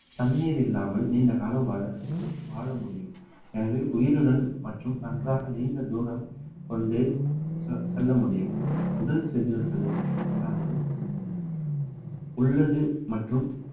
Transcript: தண்ணீர் இல்லாமல் நீண்ட காலம் வாழ வாழ முடியும் எனவே உயிருடன் மற்றும் நன்றாக நீண்ட தூரம் கொண்டு செ~ செல்ல முடியும் உடல் செதில்கள் இல்லாமல் உள்ளது மற்றும்